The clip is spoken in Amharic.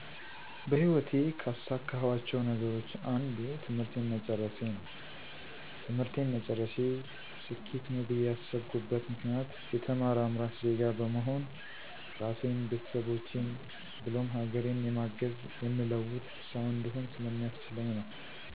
በህይወቴ ካሳካኋቸው ነገሮች አንዱ ትምህርቴን መጨረሴ ነው። ትምህርቴን መጨረሴ ስኬት ነው ብዬ ያስብኩበት ምክንያት የተማረ አምራች ዜጋ በመሆን ራሴን፣ ቤተሰቦቼን ብሎም ሀገሬን የማግዝ፣ የምለውጥ ሠው እንድሆን ስለሚያስችለኝ ነው።